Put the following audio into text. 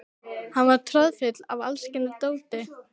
Hún var troðfull af alls kyns dóti.